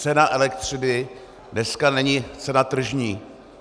Cena elektřiny dneska není cena tržní.